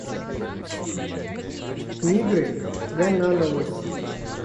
мигры гайнановой